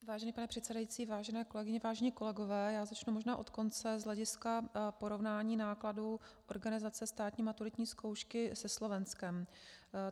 Vážený pane předsedající, vážené kolegyně, vážení kolegové, já začnu možná od konce z hlediska porovnání nákladů organizace státní maturitní zkoušky se Slovenskem.